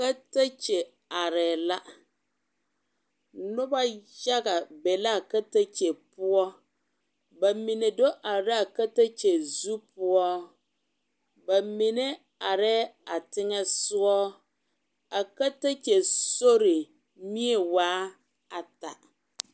Katakye arɛɛ la noba yaga be l,a katakye poɔ ba mine do are la a katakye zu poɔ ba mone arɛɛ a teŋɛsogɔ a katakye sori mie waa ata.